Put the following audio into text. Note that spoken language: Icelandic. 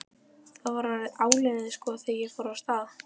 Það var orðið áliðið sko þegar ég fór af stað.